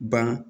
Ban